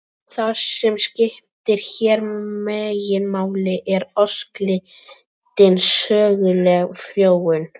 Það sem skiptir hér meginmáli er óslitin söguleg þróun.